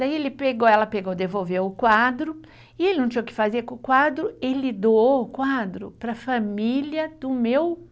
Daí ele pegou, ela pegou, devolveu o quadro e ele não tinha o que fazer com o quadro, ele doou o quadro para a família do meu